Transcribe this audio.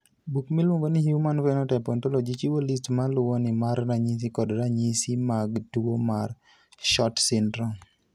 Buk miluongo ni Human Phenotype Ontology chiwo list ma luwoni mar ranyisi kod ranyisi mag tuo mar SHORT syndrome.